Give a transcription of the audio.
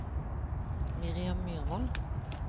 Miriam Myrvold